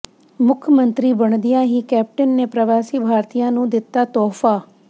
ਮੁੱਖ ਮੰਤਰੀ ਬਣਦਿਆਂ ਹੀ ਕੈਪਟਨ ਨੇ ਪ੍ਰਵਾਸੀ ਭਾਰਤੀਆਂ ਨੂੰ ਦਿੱਤਾ ਤੋਹਫਾ